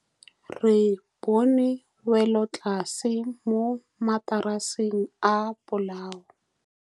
Re bone wêlôtlasê mo mataraseng a bolaô.